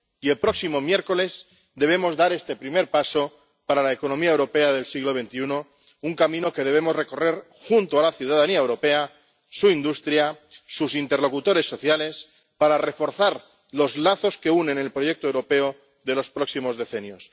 Y el próximo miércoles debemos dar este primer paso para la economía europea del siglo XXI, un camino que debemos recorrer junto a la ciudadanía europea, su industria, sus interlocutores sociales, para reforzar los lazos que nos unen en el proyecto europeo de los próximos decenios